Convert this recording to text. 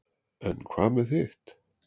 en hvað með hitt